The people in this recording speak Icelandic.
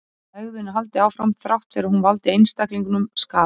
Hegðun er haldið áfram þrátt fyrir að hún valdi einstaklingnum skaða.